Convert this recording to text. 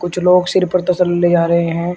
कुछ लोग सिर पर तसले ले जा रहे है।